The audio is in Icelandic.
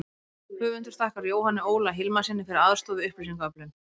Höfundur þakkar Jóhanni Óla Hilmarssyni fyrir aðstoð við upplýsingaöflun.